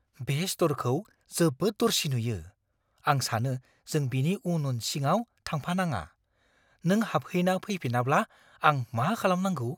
बे स्ट'रखौ जोबोद दरसि नुयो। आं सानो जों बिनि उन उन सिङाव थांफानाङा। नों हाबहैना फैफिनाब्ला आं मा खालामनांगौ?